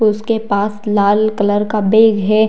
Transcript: उसके पास लाल कलर का बैग है।